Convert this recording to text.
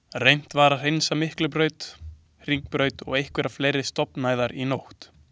Reynt var að hreinsa Miklubraut, Hringbraut og einhverjar fleiri stofnæðar í nótt.